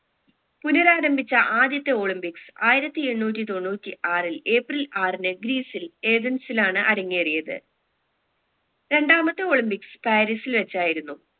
പുനരാരംഭിച്ച ആദ്യത്തെ olympics ആയിരത്തി എണ്ണൂറ്റി തൊണ്ണൂറ്റി ആറിൽ ഏപ്രിൽ ആറിന് ഗ്രീസിൽ ഏതന്സിലാണ് അരങ്ങേറിയത് രണ്ടാമത്തെ olympics പാരിസിൽ വെച്ചായിരുന്നു